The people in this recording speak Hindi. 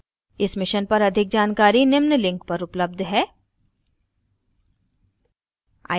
इस mission पर अधिक जानकारी निम्न लिंक पर उपलब्ध है